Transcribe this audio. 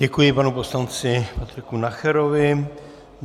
Děkuji panu poslanci Patriku Nacherovi.